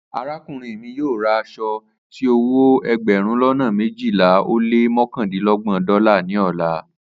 Arakunrin mi yoo ra aso ti owo egberun lona mejila o le mokandinlogoji dọla ni ọla